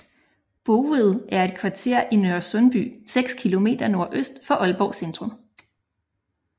Bouet er et kvarter i Nørresundby seks kilometer nordøst for Aalborg Centrum